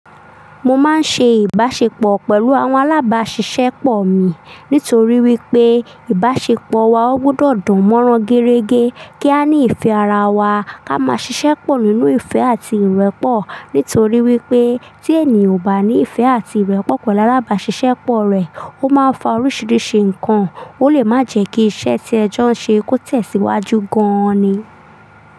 Mo máa ń ṣe ìbáṣepọ̀ pẹ̀lú àwọn alábáṣiṣẹ́pọ̀ mi nítorí wípé ìbáṣepọ̀ wa ó gbọdọ̀ dán mọ́rán gẹ́rẹ́gẹ́ kí a ní ìfẹ́ ara wa, ká máa ṣiṣẹ́pọ̀ nínú ìfẹ́ àti ìrẹ́pọ̀. Nítorí wípé tí ènìyàn ò bá ní ìfẹ́ àti ìrẹ́pọ̀ pẹ̀lú alábáṣiṣẹ́pọ̀ rẹ̀, ó máa ń fa oríṣiríṣi ǹkan, ó lè má jẹ́ kí iṣẹ́ tí ẹ jọ́ ń ṣe kó tẹ̀síwájú gan ni.